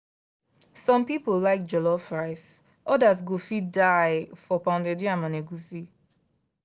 some people like jollof rice others go fit die for pounded yam and egusi.